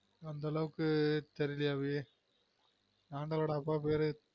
அந்த அளவுக்கு தெரியலயே அபி ஆண்டாளொட அப்பா பேரு?